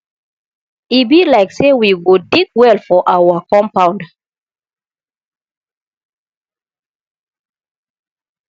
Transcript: e be like say we go dig well for our compound